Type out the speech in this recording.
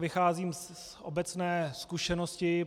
Vycházím z obecné zkušenosti.